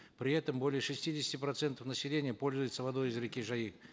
при этом более шестидесяти процентов населения пользуется водой из реки жайык